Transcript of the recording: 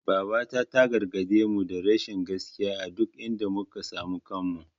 Babata ta gargaɗemu da rashin gaskiya a duk inda muka samu kanmu.